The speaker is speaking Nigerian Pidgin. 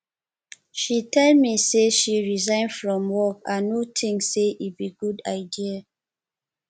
she tell me she resign from work i no think say e be good idea